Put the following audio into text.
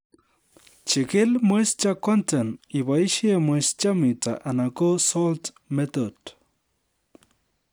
Jikil moisture content iboisie moisture metre anan ko salt method